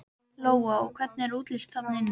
Lóa: Og hvernig er útlits þarna inni?